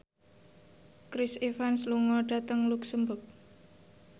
Chris Evans lunga dhateng luxemburg